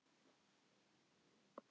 Vikar, hvað er opið lengi á fimmtudaginn?